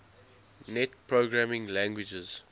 net programming languages